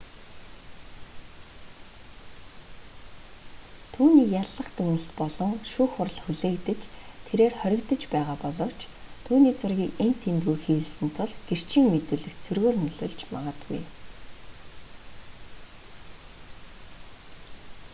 түүнийг яллах дүгнэлт болон шүүх хурал хүлээгдэж тэрээр хоригдож байгаа боловч түүний зургийг энд тэндгүй хэвлэсэн тул гэрчийн мэдүүлэгт сөргөөр нөлөөлж магадгүй